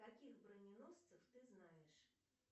каких броненосцев ты знаешь